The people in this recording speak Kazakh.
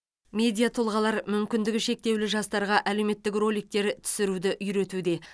медиа тұлғалар мүмкіндігі шектеулі жастарға әлеуметтік роликтер түсіруді үйретуде